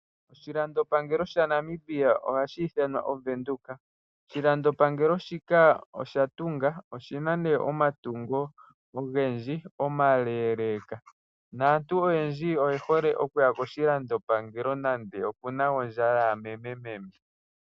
Oshilando pangelo sha Namibia ohashi iithanwa ovenduka. Oshilando pangelo shika osha tunga, oshina ne omatungo ogendji omaleleka naantu oyendji oyehole okuya koshilando pangelo, nando kuna ondjala ya memememe.